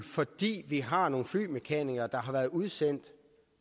fordi vi har nogle flymekanikere der har været udsendt